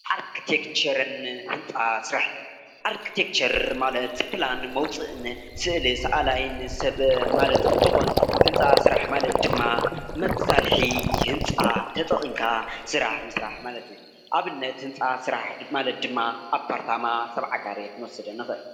ኣርተክቸርን ህንፃ ስራሕቲን፦ ኣርተክቸር ማለት ፕላን መውፅእን ስእሊ ሳኣላይ ሰብ ማለት እንትኾን፤ ህንፃ ስራሕ ማለት ድማ መሳርሒ ህንፃ ተጠቂምካ ስራሕ ምስራሕ ማለት እዩ፡፡ ኣብነት ህንፃ ስራሕ ማለት ድማ ኣፓርታማ፣ ሰብዓ ካሬ ክንወስድ ንክእል፡፡